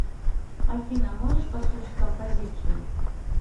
афина можешь послушать композицию